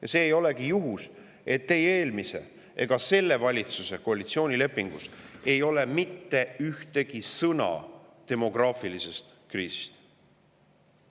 Ja ei ole juhus, et ei eelmise ega ka selle valitsuse koalitsioonilepingus ei ole mitte ühtegi sõna demograafilise kriisi kohta.